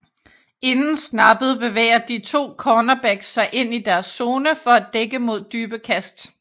Inden snappet bevæger de to cornerbacks sig ind i deres zone for at dække mod dybe kast